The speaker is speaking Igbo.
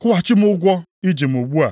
‘Kwụghachi m ụgwọ i ji m ugbu a.’